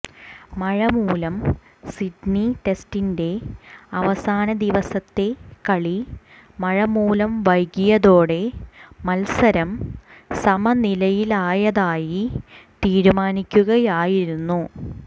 മഴമൂലം സിഡ്നി ടെസ്റ്റിന്റെ അവസാന ദിവസത്തെ കളി മഴമൂലം വൈകിയതോടെ മത്സരം സമനിലയിലായതായി തീരുമാനിക്കുകയായിരുന്നു